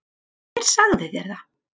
Hver sagði þér það?